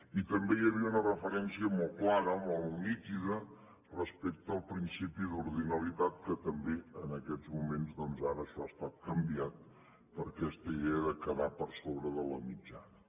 i també hi havia una referència molt clara molt nítida respecte al principi d’ordinalitat que també en aquests moments ara això ha estat canviat per aquesta idea de quedar per sobre de la mitjana